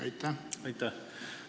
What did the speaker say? Aitäh!